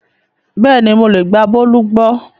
Bẹ́ẹ̀ni mo lè gba Bólú gbọ́